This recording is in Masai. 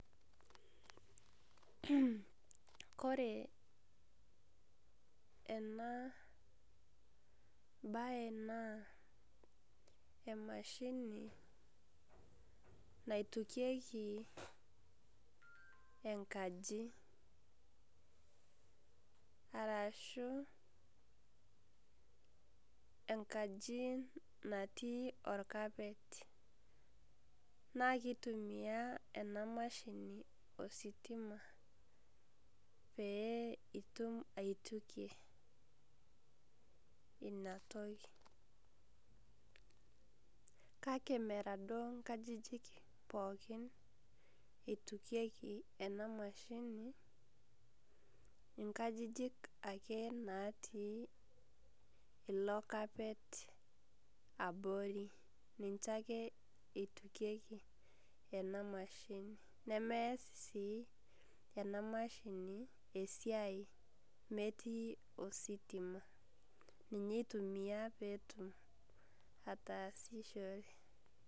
Kore enabae naa emashini naitukieki enkaji. Arashu enkaji natii orkapet. Na kitumia ena mashini ositima, pee itum aitukie ina toki. Kake mera ake duo nkajijik pookin eitukieki ena mashini. Inkajijik ake natii ilo carpet abori. Ninche ake itukieki ena mashini. Nemees sii ina mashini esiai metii ositima. Ninye itumia petum ataasishore.